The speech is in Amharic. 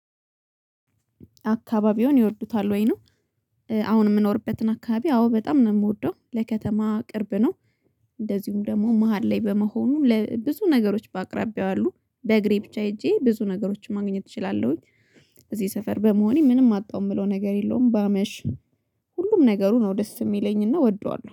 አካባቢውን ይወዱታል ወይ ነው? አሁን የምኖርበትን አካባቢ አዎ በጣም ነው ምወደው ለከተማ ቅርብ ነው። እንደዚሁም ደግሞ መሃል ላይ በመሆኑ ለብዙ ነገሮች በአቅራቢያው አሉ በእግሬ ብቻ ሄጄ ብዙ ነገሮችን ማግኘት እችላለሁኝ። እዚህ ሰፈር በመሆኔ ምንም አጣው ምለው ነገር የለውም ባመሽ። ሁሉም ነገሩ ነው ደስ ሚለኝና ወደዋለሁ